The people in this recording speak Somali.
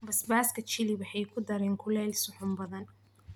Basbaaska Chili waxay ku daraan kulayl suxuun badan.